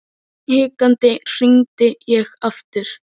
Hikandi hringdi ég aftur.